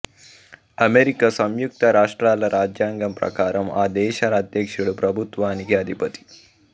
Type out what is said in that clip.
America సంయుక్త రాష్ట్రాల రాజ్యాంగం ప్రకారం ఆ దేశ అధ్యక్షుడు ప్రభుత్వానికి అధిపతి